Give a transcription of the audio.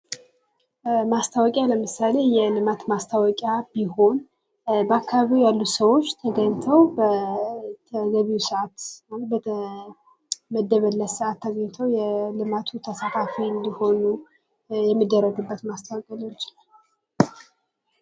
ማስታወቂያ ለምሳሌ የልማት ማስታወቂያ ቢሆን በአካባቢው ያሉት ሰዎች ተገኝተው በተገቢው ሰአት ወይም በተመደበለት ሰአት ተገኝተው የልማቱ ተሳታፊ እንዲሆኑ የሚደረግበት ማስታወቂያ ሊሆን ይችላል።